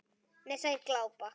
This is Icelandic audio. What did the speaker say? Þær glápa.